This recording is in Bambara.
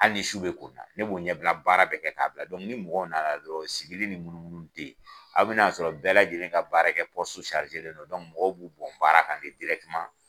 Hali ni su bɛ ko n na, ne b'o ɲɛbila baara bɛ kɛ k'a bila ni mɔgɔ nana dɔrɔn sigili ni munumununi tɛ yen. Aw bɛna sɔrɔ bɛɛ lajɛlen ka baara kɛ mɔgɔ b'u bɔn baara kan